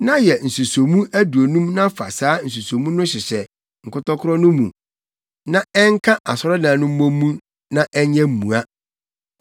Na yɛ nsusomu aduonum na fa saa nsusomu no hyehyɛ nkɔtɔkoro no mu na ɛnka asɔredan no mmɔ mu na ɛnyɛ mua.